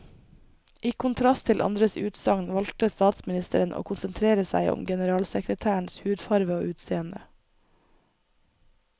I kontrast til andres utsagn valgte statsministeren å konsentrere seg om generalsekretærens hudfarve og utseende.